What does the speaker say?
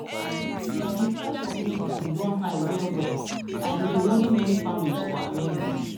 the price of medicine don high well well and e dey worry many families for america